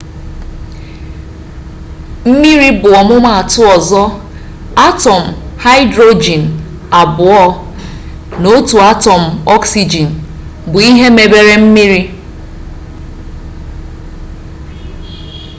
mmiri bụ ọmụmaatụ ọzọ atọm haịdrojin abụọ na otu atọm ọksigin bụ ihe mebere mmiri